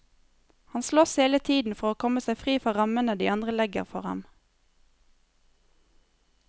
Han slåss hele tiden for å komme seg fri fra rammene de andre legger for ham.